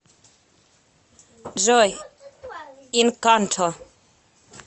джой инканто